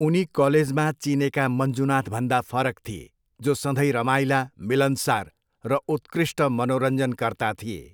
उनी कलेजमा चिनेका मञ्जुनाथभन्दा फरक थिए, जो सधैँ रमाइला, मिलनसार र उत्कृष्ट मनोरञ्जनकर्ता थिए।